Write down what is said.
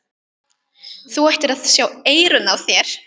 Þú ættir að sjá eyrun á þér!